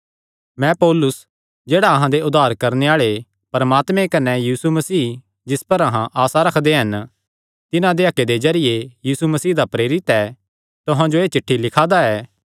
मैं पौलुस जेह्ड़ा अहां दे उद्धार करणे आल़े परमात्मे कने यीशु मसीह जिस पर अहां आसा रखदे हन तिन्हां दे हक्के दे जरिये यीशु मसीह दा प्रेरित ऐ तुहां जो एह़ चिठ्ठी लिखा दा ऐ